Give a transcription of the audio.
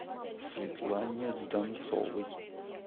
светлане донцовой